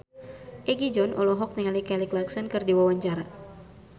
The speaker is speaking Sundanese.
Egi John olohok ningali Kelly Clarkson keur diwawancara